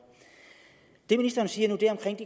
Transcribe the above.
det ministeren siger